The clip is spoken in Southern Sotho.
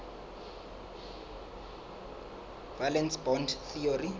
valence bond theory